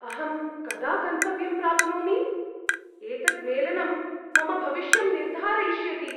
अहं कदा गन्तव्यं प्राप्नोमि? एतद् मेलनं मम भविष्यं निर्धारयिष्यति।